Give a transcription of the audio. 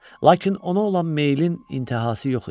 Lakin ona olan meylin intihası yox idi.